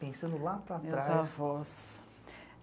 pensando lá para trás. Meus avós.